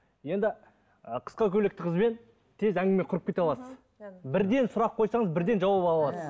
енді ы қысқа көйлекті қызбен тез әңгіме құрып кете аласыз бірден сұрақ қойсаңыз бірден жауап ала аласыз